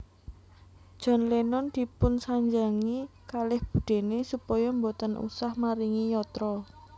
John Lennon dipunsanjangi kalih budene supaya mboten usah maringi yatra